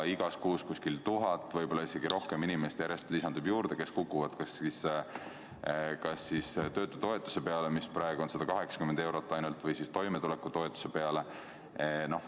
Igas kuus lisandub umbes tuhat, võib-olla isegi rohkem inimest, kes kas kukub töötutoetuse peale, mis praegu on ainult 180 eurot, või toimetulekutoetuse peale.